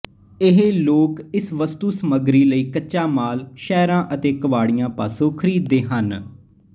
ਇਹ ਲੋਕ ਇਸ ਵਸਤੂ ਸਮੱਗਰੀ ਲਈ ਕੱਚਾ ਮਾਲ ਸ਼ਹਿਰਾਂ ਅਤੇ ਕਬਾੜੀਆਂ ਪਾਸੋ ਖਰੀਦਦੇ ਹਨ